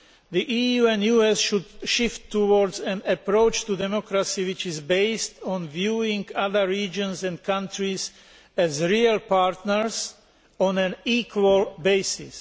The EU and US should shift towards an approach to democracy which is based on viewing other regions and countries as real partners on an equal basis.